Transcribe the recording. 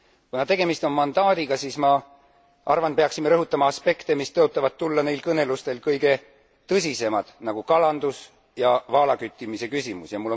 Kuna tegemist on mandaadiga, siis ma arvan, et peaksime rõhutama aspekte, mis tõotavad tulla neil kõnelustel kõige tõsisemad, nagu kalandus ja vaalaküttimise küsimus.